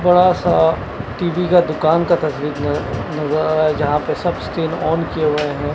थोड़ा सा टीवी का दुकान का तस्वीर का नज नजर आ रहा है जहां पर सब स्क्रीन ऑन किए हुए हैं।